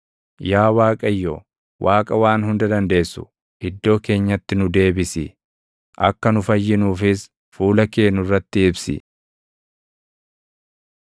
Yaa Waaqayyo, Waaqa Waan Hunda Dandeessu iddoo keenyatti nu deebisi; akka nu fayyinuufis fuula kee nurratti ibsi.